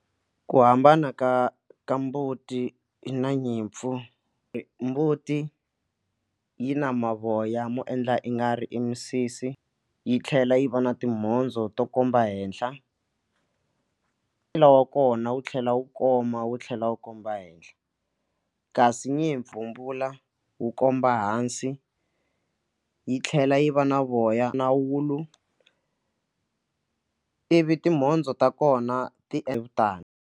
Ku hambana ka ka mbuti na nyimpfu mbuti yi na mavoya mo endla i nga ri e misisi yi tlhela yi va na timhondzo to komba henhla e ncila wa kona wu tlhela wu koma wu tlhela wu komba henhla kasi ni hi wu komba hansi yi tlhela yi va na voya na wulu ivi timhondzo ta kona ti etani.